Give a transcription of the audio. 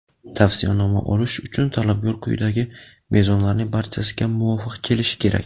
Tavsiyanoma olish uchun talabgor quyidagi mezonlarning barchasiga muvofiq kelishi kerak:.